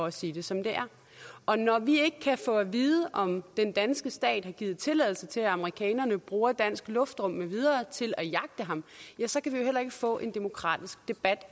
at sige det som det er og når vi ikke kan få at vide om den danske stat har givet tilladelse til at amerikanerne bruger dansk luftrum med videre til at jagte ham så kan vi heller ikke få en demokratisk debat